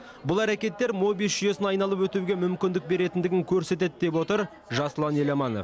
бұл әрекеттер мобиус жүйесін айналып өтуге мүмкіндік беретіндігін көрсетеді деп отыр жасұлан еламанов